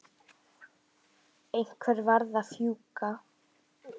Einhver varð að fjúka.